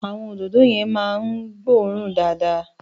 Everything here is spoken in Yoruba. Àwọn òdòdó yẹn máa ń gbóòórùn dáadáa.